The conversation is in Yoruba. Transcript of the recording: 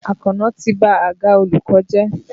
Àkànó ti ba àga olùkọ́ jẹ́.